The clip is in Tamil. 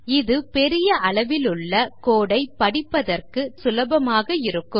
இது பெரிய அளவிலுள்ள code ஐ படிப்பதற்கு சற்று சுலபமாக இருக்கும்